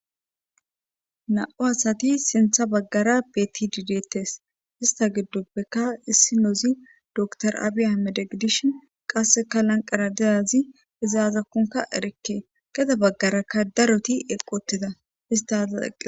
na7u asati sintha baggara betti didettes hista giddoppeka issinoozi door abiya medegidishin qasseka lanqara deyazi izaazakkunka erikke geda baggarakka daroti eqotida istaza eqe